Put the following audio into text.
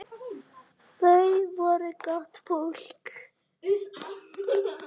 Þau voru gott fólk.